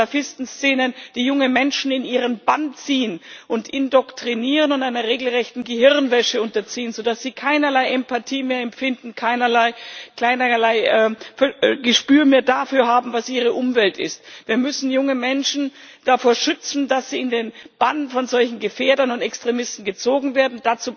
die Salafisten Szenen, die junge Menschen in ihren Bann ziehen und indoktrinieren und einer regelrechten Gehirnwäsche unterziehen, sodass sie keinerlei Empathie mehr empfinden, keinerlei Gespür mehr dafür haben, was ihre Umwelt ist Wir müssen junge Menschen davor schützen, dass sie in den Bann von solchen Gefährdern und Extremisten gezogen werden.